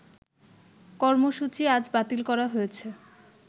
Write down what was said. কর্মসূচি আজ বাতিল করা হয়েছে